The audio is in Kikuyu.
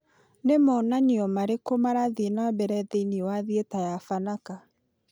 Nĩ monanio marĩkũ marathiĩ na mbere thĩiniĩ wa thieta ya banaka?